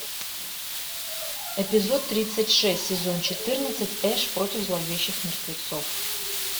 эпизод тридцать шесть сезон четырнадцать эш против зловещих мертвецов